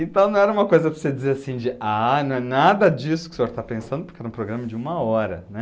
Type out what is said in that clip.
Então, não era uma coisa para você dizer assim de, ah, não é nada disso que o senhor está pensando, porque era um programa de uma hora, né?